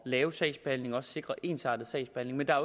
lave sagsbehandling og også sikre ensartet sagsbehandling men der